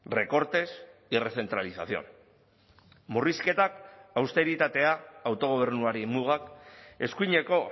recortes y recentralización murrizketak austeritatea autogobernuari mugak eskuineko